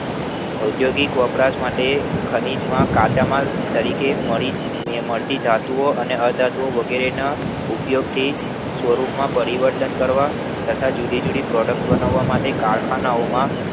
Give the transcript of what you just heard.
અદ્યોગિક વપરાશ માટે ખનિજમાં કાચા માલ તરીકે મળતી ધાતુ ઓ અને અધાતુઓ વગેરે ના ઉપયોગ થી સ્વરૂપમાં પરિવર્તન કરવા તથા જુદી જુદી Product બનાવા માટેઓના કારખાના